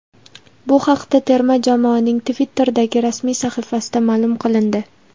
Bu haqda terma jamoaning Twitter’dagi rasmiy sahifasida ma’lum qilindi.